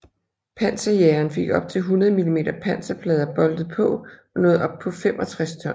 Panserjageren fik op til 100 mm panserplader boltet på og nåede op på 65 ton